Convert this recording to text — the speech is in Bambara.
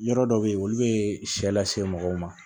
Yɔrɔ dɔw bɛ yen olu bɛ sɛ lase mɔgɔw ma